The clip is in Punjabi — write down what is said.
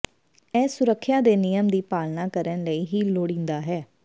ਇਹ ਸੁਰੱਖਿਆ ਦੇ ਨਿਯਮ ਦੀ ਪਾਲਣਾ ਕਰਨ ਲਈ ਹੀ ਲੋੜੀਦਾ ਹੈ